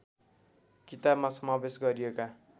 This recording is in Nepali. किताबमा समावेश गरिएका